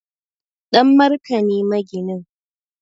Danmarka ne maginin